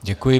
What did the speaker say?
Děkuji.